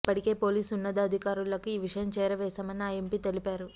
ఇప్పటికే పోలీసు ఉన్నతాధికారులలకు ఈ విషయం చేరవేశానని ఆ ఎంపీ తెలిపారు